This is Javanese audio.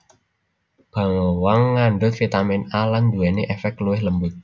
Bawang ngandhut vitamin A lan nduwèni èfèk luwih lembut